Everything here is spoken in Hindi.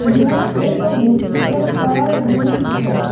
यह एक हॉस्पिटल का रूम है।